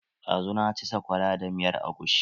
Ɗazu na ci sakwara da miyan agushi.